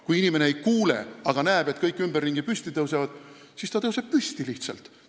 Kui inimene ei kuule, aga näeb, et kõik ümberringi tõusevad püsti, siis ta tõuseb lihtsalt ka püsti.